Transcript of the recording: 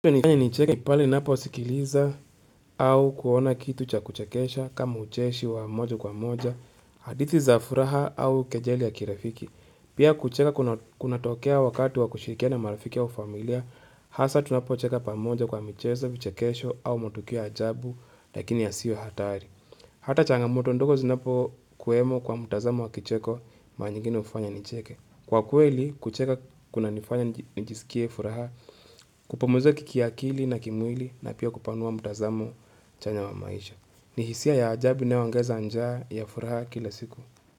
Yanifanya nicheke pale ninaposikiliza au kuona kitu cha kuchekesha kama ucheshi wa moja kwa moja, hadithi za furaha au kejeli ya kirafiki. Pia kucheka kunatokea wakati wa kushirikiana na marafiki au familia, hasa tunapocheka pamoja kwa michezo, vichekesho au matukio ya ajabu lakini yasiyo hatari. Hata changamoto ndogo zinapokuwemo kwa mtazamo wa kicheko, mara nyingine hufanya nicheke. Kwa kweli, kucheka kunanifanya nijisikie furaha, kupumzika kiakili na kimwili na pia kupanua mtazamo chanya wa maisha. Ni hisia ya ajabu inayoongeza njaa ya furaha kila siku.